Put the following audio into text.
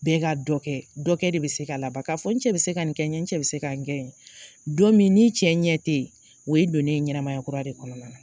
Bɛɛ ka dɔ kɛ . Dɔkɛ de be se ka laban, ka fɔ n cɛ be se ka kɛ n ye cɛ bɛ se ka kɛ n ye don min cɛ ɲɛ te yen o ye i donnen ye ɲɛnamaya kura de kɔnɔna la.